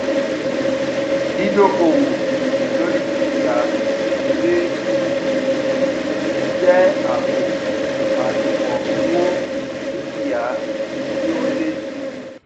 dídókòwó lóri dúkìá abc jé àpò àṣùwòn owó dúkìá tí ó n lé sí i